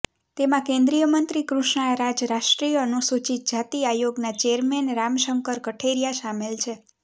તેમાં કેંદ્રીય મંત્રી કૃષ્ણા રાજ રાષ્ટ્રીય અનૂસૂચિત જાતિ આયોગના ચેયરમેન રામ શંકર કઠેરિયા શામેલ છે